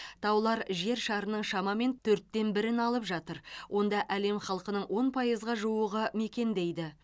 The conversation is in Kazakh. таулар жер шарының шамамен төрттен бірін алып жатыр онда әлем халқының он пайызға жуығы мекендейді